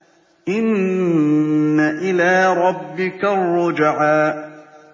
إِنَّ إِلَىٰ رَبِّكَ الرُّجْعَىٰ